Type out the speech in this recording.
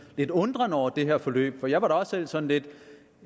lille undren over det her forløb for jeg var da også selv sådan lidt